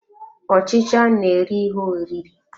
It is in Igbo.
Ọchicha na-eri ihe oriri.